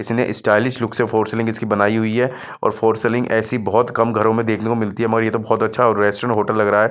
किसी ने stylish look से फ्लोर सिलिंग इसकी बनाई हुई है और फ्लोर सिलिंग ऐसी बहुत कम घरों में देखने को मिलती है मगर ये तो बहुत अच्छा रेस्टोरेंट होटल लग रहा है।